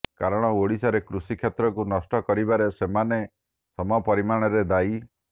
କାରଣ ଓଡ଼ିଶାରେ କୃଷି କ୍ଷେତ୍ରକୁ ନଷ୍ଟ କରିବାରେ ସେମାନେ ସମପରିମାଣରେ ଦାୟୀ